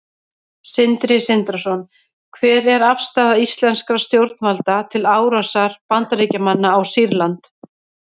Sindri Sindrason: Hver er afstaða íslenskra stjórnvalda til árásar Bandaríkjamanna á Sýrland?